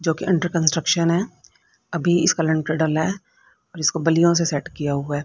जोकि under construction है अभी इसका लिंटर डला है और इसको बल्लियो से सेट किया हुआ है।